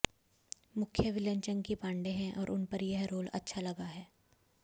मुख्य विलेन चंकी पांडे हैं और उन पर यह रोल अच्छा लगा है